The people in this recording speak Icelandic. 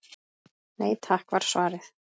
Nei takk var svarið.